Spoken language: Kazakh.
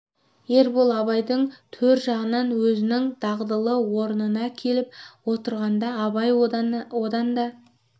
ербол абайдың төр жағынан өзінің дағдылы орнына келіп отырғанда абай одан да